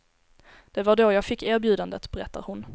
Det var då jag fick erbjudandet, berättar hon.